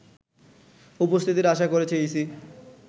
উপস্থিতির আশা করছে ইসি